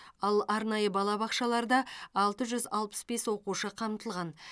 ал арнайы балабақшаларда алты жүз алпыс бес оқушы қамтылған